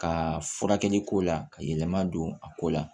Ka furakɛli ko la ka yɛlɛma don a ko la